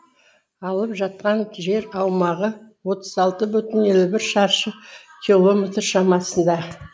алып жатқан жер аумағы отыз алты бүтін елу бір шаршы километр шамасында